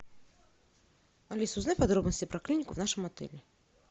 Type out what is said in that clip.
алиса узнай подробности про клинику в нашем отеле